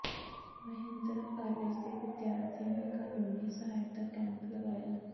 Mahindra college ਦੇ ਵਿਦਿਆਰਥੀਆਂ ਨੇ ਕਾਨੂੰਨੀ ਸਹਾਇਤਾ ਕੈਂਪ ਲਗਾਇਆ